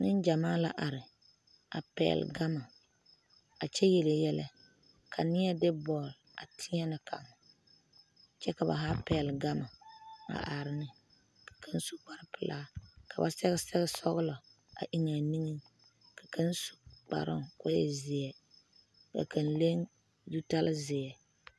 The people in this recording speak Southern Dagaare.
Neŋgyamaa la are a pɛgle gama a kyɛ yele yɛlɛ ka neɛ de bɔl a teɛnɛ kaŋ kyɛ ka ba haa pɛgle gama a are ne kaŋ su kparepelaa ka ba sɛge sɛgsɔglɔ a eŋaa niŋeŋ ka kaŋ su kparoo ko e zeɛ ka kaŋ leŋ zutale zeɛ.